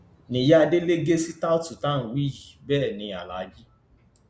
ni ìyá délé ń gé sítáòtú tá a wí yìí bẹẹ ní aláàjì